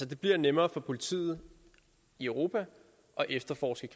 det bliver nemmere for politiet i europa at efterforske